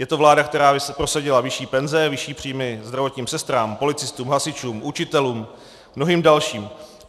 Je to vláda, která prosadila vyšší penze, vyšší příjmy zdravotním sestrám, policistům, hasičům, učitelům, mnohým dalším.